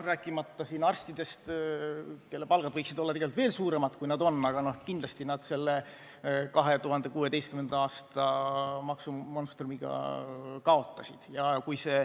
–, rääkimata arstidest, kelle palgad võiksid olla tegelikult veel suuremad, kui need on, aga kindlasti nad selle 2016. aasta maksumonstrumiga kaotasid.